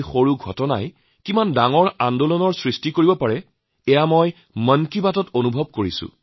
সৰুসুৰা ঘটনাই কিমান ডাঙৰ আন্দোলন সৃষ্টি কৰে সেয়া মন কী বাতত মই অনুভৱ কৰিছোঁ